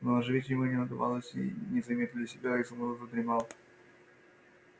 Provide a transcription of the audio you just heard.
но оживить его не удавалось и незаметно для себя изумруд задремал